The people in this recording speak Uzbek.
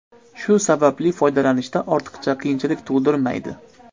Shu sababli, foydalanishda ortiqcha qiyinchilik tug‘dirmaydi.